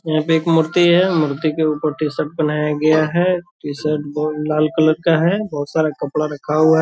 यहाँ पे एक मूर्ति है मूर्ति के ऊपर टी-शर्ट पहनाया गया है टी-शर्ट बो लाल कलर का है बहुत सारा कपड़ा रखा हुआ है।